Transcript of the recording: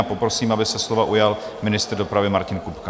A poprosím, aby se slova ujal ministr dopravy Martin Kupka.